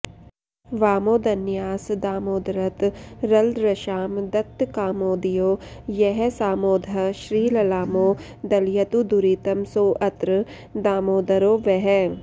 वामोदन्यासदामोदरतरलदृशां दत्तकामोदयो यः सामोदः श्रीललामो दलयतु दुरितं सोऽत्र दामोदरो वः